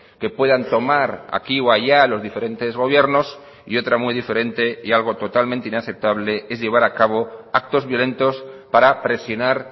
que puedan tomar aquí o allá los diferentes gobiernos y otra muy diferente y algo totalmente inaceptable es llevar a cabo actos violentos para presionar